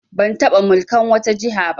Ban taɓa mulkan wata jiha ba